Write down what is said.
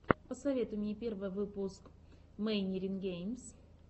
посоветуй мне первый выпуск мэйнирин геймс